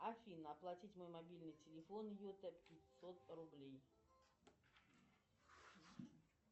афина оплатить мой мобильный телефон йота пятьсот рублей